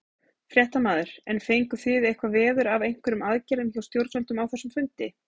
Fréttamaður: En fenguð þið eitthvað veður af einhverjum aðgerðum hjá stjórnvöldum á þessum fundi?